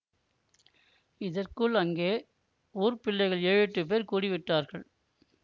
இதற்குள் அங்கே ஊர்ப் பிள்ளைகள் ஏழெட்டுப் பேர் கூடிவிட்டார்கள்